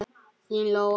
Þín Lóa.